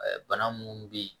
Bana munnu be yen